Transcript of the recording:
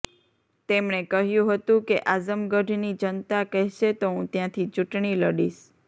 તેમણે કહ્યું હતું કે આઝમગઢની જનતા કહેશે તો હું ત્યાંથી ચૂંટણી લડીશ